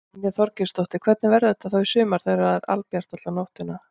Brynja Þorgeirsdóttir: Hvernig verður þetta þá í sumar þegar það er albjart alla nóttina?